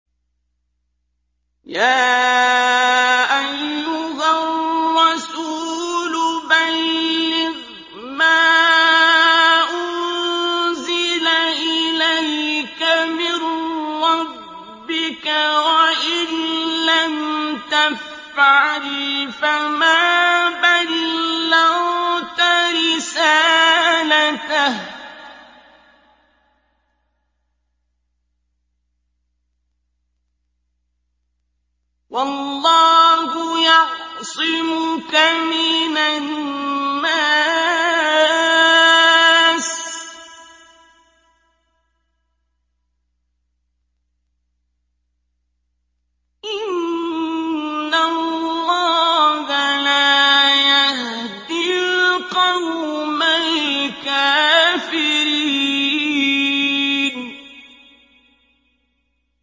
۞ يَا أَيُّهَا الرَّسُولُ بَلِّغْ مَا أُنزِلَ إِلَيْكَ مِن رَّبِّكَ ۖ وَإِن لَّمْ تَفْعَلْ فَمَا بَلَّغْتَ رِسَالَتَهُ ۚ وَاللَّهُ يَعْصِمُكَ مِنَ النَّاسِ ۗ إِنَّ اللَّهَ لَا يَهْدِي الْقَوْمَ الْكَافِرِينَ